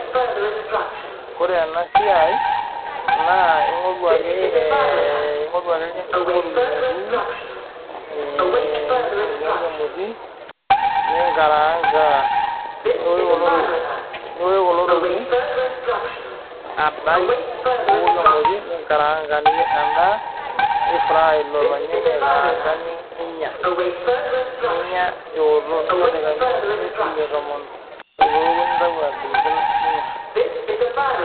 ore ena siai ingore ake irnyanya tenebo kitunguu nibukoki emoti ninkaraanga niwosh kulo tokiting adany ninkaraanga niyier endaa nifrye lilo nyanya adany ninya nincho idaikani imiet ampaka tomon teneku ninteru agiligil ninya